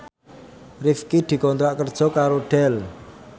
Rifqi dikontrak kerja karo Dell